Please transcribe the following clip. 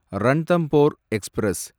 Ranthambore express